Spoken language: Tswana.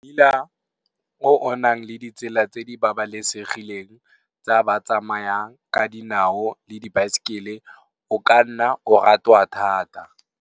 Mmila o nang le ditsela tse di babalesegileng tsa ba tsamayang ka dinao le dibaesekele o ka nna wa ratwa thata.